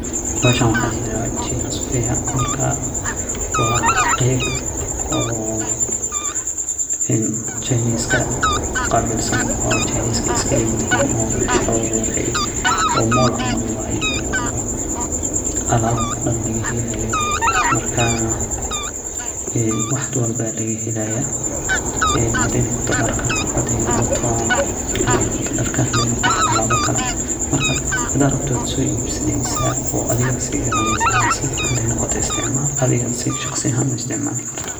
Bahashan waxa layirahda China suqare wa qeyb oo jinska iskaleyihin oo mall camal eeh waye oo alab daan lagahelayo marka wax walbo lagahelaya hadey noqoto darka, ama alaba kale marka hadad rabti wad soibsaneysa wad sigadaneysa ama adhga shaqsiyan isticmal.